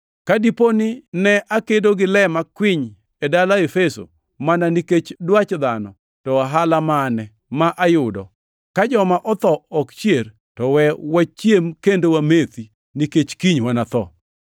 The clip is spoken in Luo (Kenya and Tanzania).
Ka dipo ni ne akedo gi le makwiny e dala Efeso mana nikech dwach dhano to ohala mane ma ayudo? Ka joma otho ok chier, to we wachiem kendo wamethi, nikech kiny wanatho. + 15:32 \+xt Isa 22:13\+xt*